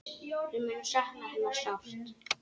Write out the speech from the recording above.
Við munum sakna hennar sárt.